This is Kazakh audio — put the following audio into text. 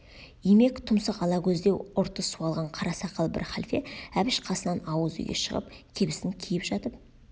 имек тұмсық ала көздеу ұрты суалған қара сақал бір халфе әбіш қасынан ауыз үйге шығып кебісін киіп жатып